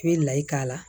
I bɛ layi k'a la